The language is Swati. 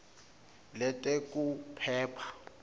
letekuphepha